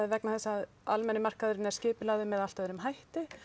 vegna þess að almenni markaðurinn er skipulagður með allt öðrum hætti